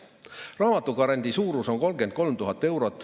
Raamatugrandi suurus on 33 000 eurot.